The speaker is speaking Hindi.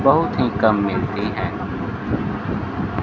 बहुत ही कम मिलती है।